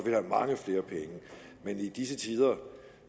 have mange flere penge men i disse tider